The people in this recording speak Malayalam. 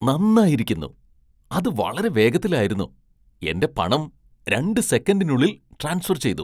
നന്നായിരിക്കുന്നു. അത് വളരെ വേഗത്തിലായിരുന്നു. എന്റെ പണം രണ്ട് സെക്കൻഡിനുള്ളിൽ ട്രാൻസ്ഫർ ചെയ്തു.